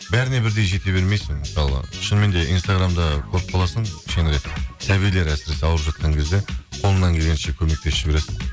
бәріне бірдей жете бермейсің мысалы шынымен де инстаграмда көріп қаласың кішкенірек сәбилер әсіресе ауырып жатқан кезде қолынан келгенше көмектесіп жібересің